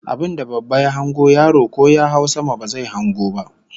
Abinda babba ya hango yaro ko ya hau sama ba zai hango ba